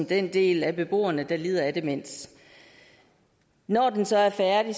den del af beboerne der lider af demens når den så er færdig